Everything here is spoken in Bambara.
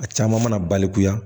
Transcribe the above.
A caman mana balikuya